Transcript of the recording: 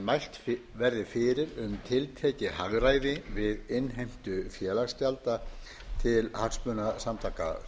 mælt verði fyrir um tiltekið hagræði við innheimtu félagsgjalda til hagsmunasamtaka